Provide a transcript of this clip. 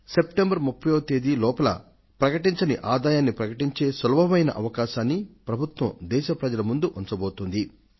September 30 వ తేదీ లోపల బహిరంగపరచని ఆదాయాన్ని ప్రకటించే సులభమైన అవకాశాన్ని ప్రభుత్వం దేశ ప్రజల ముందు ఉంచబోతోంది